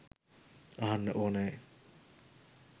අහන්න ඕනෑ.